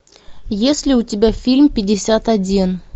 есть ли у тебя фильм пятьдесят один